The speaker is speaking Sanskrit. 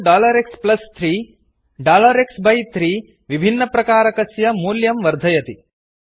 xx3 x बै 3 विभिन्नप्रकारकस्य मूल्यं वेल्यू वर्धयति